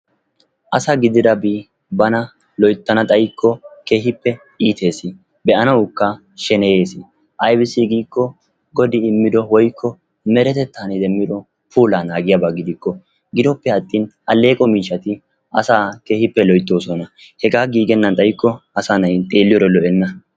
Asa gididabi bana loytana xayikko keehippe iites. be'anawukka sheneyeesi ayssi giiko godi immido woykko meretetan demmido puulaa naagiyaba gidikko gidoppe atin aleeqo miishati asaa keehippe loytoosona. hegaa giigennan xayikko asaa na'ay xeeliyode lo'enna